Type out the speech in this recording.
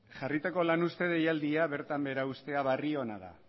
jarritako lan uzte deialdia bertan behera uztea barri ona da